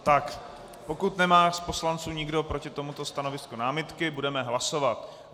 Tak pokud nemá z poslanců nikdo proti tomuto stanovisku námitky, budeme hlasovat.